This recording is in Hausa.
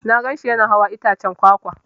Na gan shi Yana hawan itaccen kwakwa.